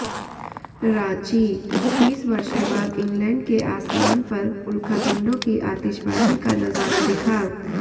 रांचीः तीस वर्षों बाद इंग्लैंड के आसमान पर उल्कापिंडों की आतिशबाजी का नजारा दिखा